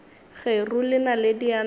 kgeru le naledi ya napa